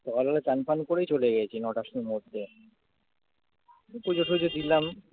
সকালবেলা চান ফান করেই চলে গেছি নটার সময়তে পুজো টুজো দিলাম।